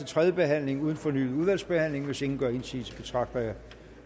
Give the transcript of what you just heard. tredje behandling uden fornyet udvalgsbehandling hvis ingen gør indsigelse betragter jeg